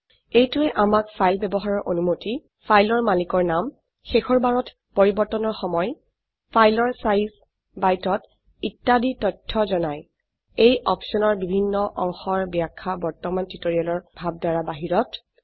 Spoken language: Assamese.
এইটোৱে আমাক ফাইল ব্যবহাৰৰ অনুমতি ফাইলৰ মালিকৰ নাম শেষৰবাৰত পৰিবৰ্তনৰ সময় ফাইলৰ সাইজ বাইটত ইত্যাদি তথ্য জনায় এই অপশনৰ বিভন্ন অংশৰ ব্যাখ্যা বৰ্তমান টিউটোৰিয়েলৰ ভাবধাৰা বাহিৰত